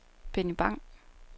Benny Bang